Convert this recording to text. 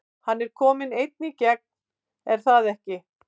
Hann er kominn einn í gegn er það ekki?